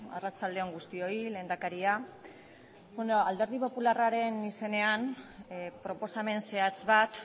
arratsalde on guztioi lehendakaria alderdi popularraren izenean proposamen zehatz bat